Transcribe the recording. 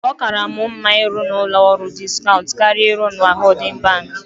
Ọ kaara mụ mma ịrụ n'ụlọ ọrụ diskaunt karịa ịrụ na hoodin banki.